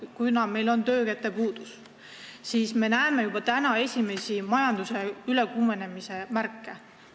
Kuna meil on suur töökäte puudus, siis me näeme juba praegu esimesi majanduse ülekuumenemise märke.